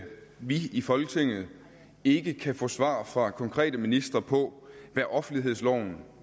at vi i folketinget ikke kan få svar fra konkrete ministre på hvad offentlighedsloven